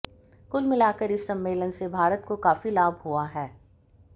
कुल मिलाकर इस सम्मलेन से भारत को काफी लाभ हुआ है